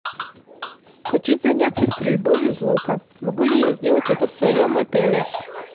хочу заняться стрельбой из лука могу ли я сделать это в своем отеле